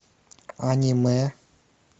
аниме